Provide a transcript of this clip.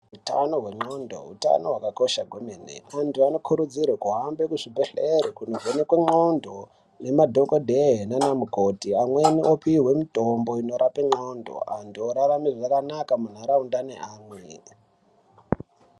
Utano hwen'ondo utano hwakakosha kwemene antu anokurudzirwa kuhambe kuzvibhedhlere kunovhenekwe ndxondo nemadhokodhee nanamukoti amweni opuwe mutombo inorape ndxondo antu orarame zvakanaka muntaraunda nevamwe.